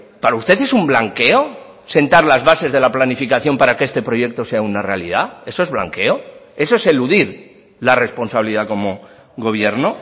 para usted es un blanqueo sentar las bases de la planificación para que este proyecto sea una realidad eso es blanqueo eso es eludir la responsabilidad como gobierno